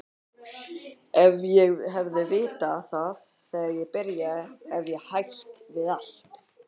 Ef ég hefði vitað það þegar ég byrjaði hefði ég hætt við allt.